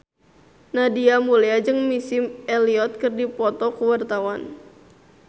Nadia Mulya jeung Missy Elliott keur dipoto ku wartawan